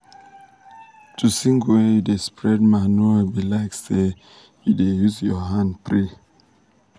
to sing when you da spread manure be like say u da use ur hand pray